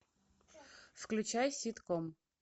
включай ситком